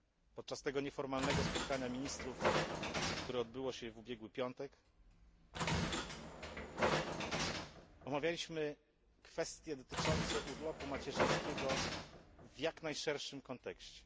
Podczas tego nieformalnego spotkania ministrów, które odbyło się w ubiegły piątek, omawialiśmy kwestie dotyczące urlopu macierzyńskiego w jak najszerszym kontekście.